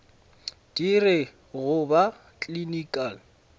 di re go ba clinical